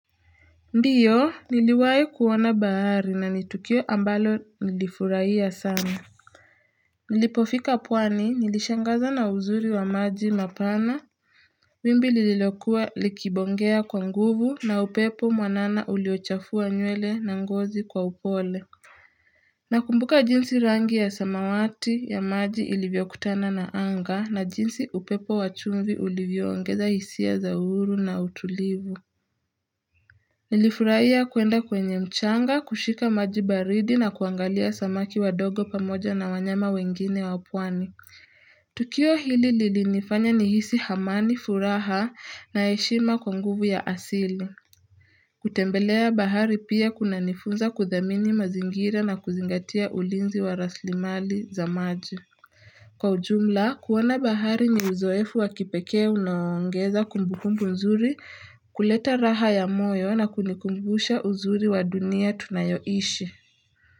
Ndiyo niliwahi kuona bahari na ni tukio ambalo nilifurahia sana Nilipofika pwani nilishangazwa na uzuri wa maji mapana wimbi lililokuwa likibongea kwa nguvu na upepo mwanana uliochafua nywele na ngozi kwa upole Nakumbuka jinsi rangi ya samawati ya maji ilivyokutana na anga na jinsi upepo wa chumvi ulivyoongeza hisia za uhuru na utulivu Nilifurahia kuenda kwenye mchanga, kushika maji baridi na kuangalia samaki wadogo pamoja na wanyama wengine wa pwani. Tukio hili lilinifanya nihisi amani furaha na heshima kwa nguvu ya asili. Kutembelea bahari pia kunanifunza kudhamini mazingira na kuzingatia ulinzi wa rasilimali za maji. Kwa ujumla, kuona bahari ni uzoefu wa kipekee unaoongeza kumbukumbu nzuri kuleta raha ya moyo na kunikumbusha uzuri wa dunia tunayoishi.